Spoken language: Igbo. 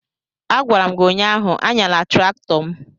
a gwara m gi ụnyahụ, anyala traktọ m!